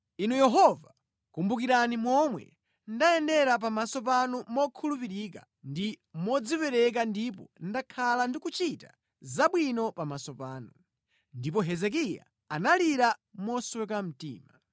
“Inu Yehova, kumbukirani momwe ndayendera pamaso panu mokhulupirika ndi modzipereka ndipo ndakhala ndikuchita zabwino pamaso panu.” Ndipo Hezekiya analira mosweka mtima.